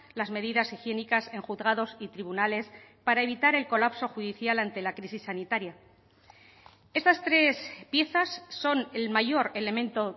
las medidas higiénicas en juzgados y tribunales para evitar el colapso judicial ante la crisis sanitaria estas tres piezas son el mayor elemento